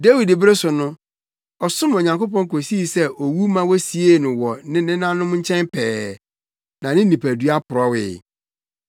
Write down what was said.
“Dawid bere so no, ɔsom Onyankopɔn kosii sɛ owu ma wosiee no wɔ ne nenanom nkyɛn pɛɛ, na ne nipadua porɔwee.